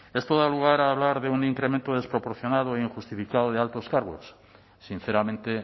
esto da lugar a hablar de un incremento desproporcionado e injustificado de altos cargos sinceramente